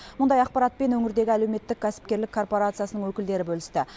мұндай ақпаратпен өңірдегі әлеуметтік кәсіпкерлік коорпорациясының өкілдері бөлісті